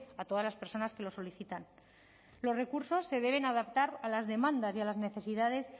a todas las personas que lo solicitan los recursos se deben adaptar a las demandas y a las necesidades